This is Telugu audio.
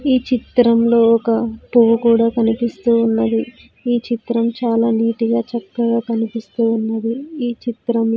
ఈ చిత్రంలో ఒక పువ్వు కూడా కనిపిస్తూ ఉన్నది ఈ చిత్రం చాలా నిట్ గా చక్కగా కనిపిస్తూ ఉన్నది ఈ చిత్రం.